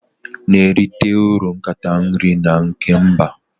Na-erite uru nkata nri nke mba